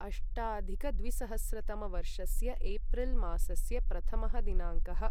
अष्टाधिकद्विसहस्रतमवर्षस्य April मासस्य प्रथमः दिनाङ्कः